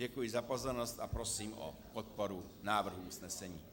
Děkuji za pozornost a prosím o podporu návrhu usnesení.